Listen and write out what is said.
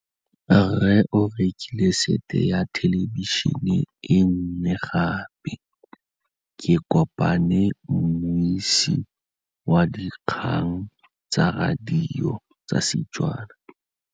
Rre o rekile sete ya thêlêbišênê e nngwe gape. Ke kopane mmuisi w dikgang tsa radio tsa Setswana.